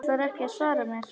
Ætlarðu ekki að svara mér?